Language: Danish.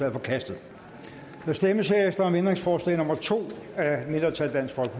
er forkastet der stemmes om ændringsforslag nummer to af et mindretal